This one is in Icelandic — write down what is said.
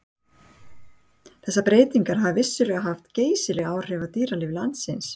þessar breytingar hafa vissulega haft geysileg áhrif á dýralíf landsins